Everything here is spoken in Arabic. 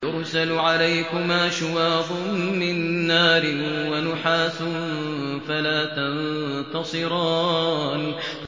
يُرْسَلُ عَلَيْكُمَا شُوَاظٌ مِّن نَّارٍ وَنُحَاسٌ فَلَا تَنتَصِرَانِ